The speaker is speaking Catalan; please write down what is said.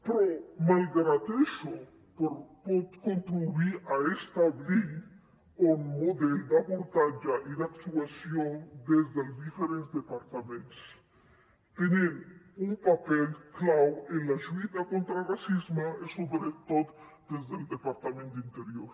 però malgrat això pot contribuir a establir un model d’abordatge i d’actuació des dels diferents departaments tenint un paper clau en la lluita contra el racisme i sobretot des del departament d’interior